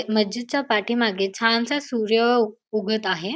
मस्जिदच्या पाठीमागे छानसा सूर्य उ उगत आहे.